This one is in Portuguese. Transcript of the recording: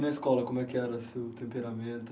E a escola, como era o seu temperamento?